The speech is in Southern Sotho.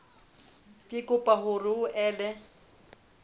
re kopa hore o ele